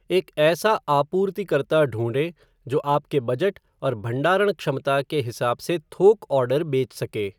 एक ऐसा आपूर्तिकर्ता ढूंढ़ें जो आपके बजट और भंडारण क्षमता के हिसाब से थोक ऑर्डर बेच सके।